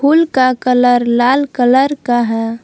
फूल का कलर लाल कलर का है।